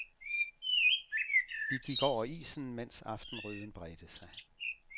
Vi gik over isen, mens aftenrøden bredte sig.